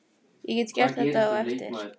Ég get gert þetta á eftir.